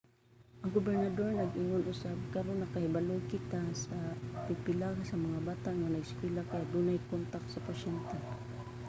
ang gobernador nag-ingon usab karon nakahibalo kita nga pipila sa bata nga nag-eskwela kay adunay kontak sa pasyente.